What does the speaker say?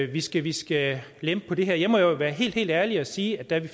vi skal vi skal lempe på det her jeg må jo være helt helt ærlig og sige at da vi